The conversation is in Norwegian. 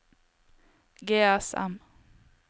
GSM